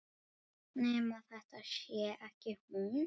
Nema þetta sé ekki hún.